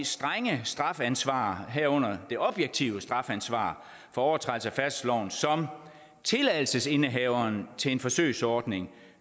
strenge strafansvar herunder det objektive strafansvar for overtrædelse af færdselsloven som tilladelsesindehaveren til en forsøgsordning